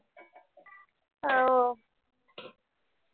हो